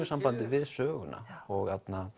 sambandi við söguna og